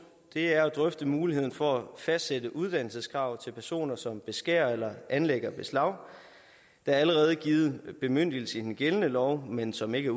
er drøfte muligheden for at fastsætte uddannelseskrav til personer som beskærer eller anlægger beslag der er allerede givet en bemyndigelse i den gældende lov men som ikke